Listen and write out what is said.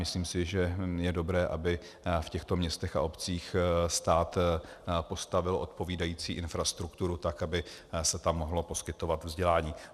Myslím si, že je dobré, aby v těchto místech a obcích stát postavil odpovídající infrastrukturu tak, aby se tam mohlo poskytovat vzdělání.